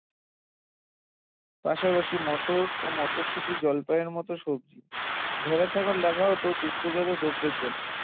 পাশাপাশি মটর, মটরশুঁটি এবং জলপাই এর মতো সবজি ভেড়া, ছাগল রাখা হত দুগ্ধজাত দ্রব্যের জন্য